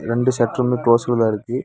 ரெண்டு சட்டறுமே கிலோஸ்ல தா இருக்கு.